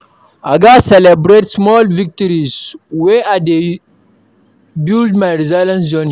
I gats celebrate small victories as I dey build my resilience journey.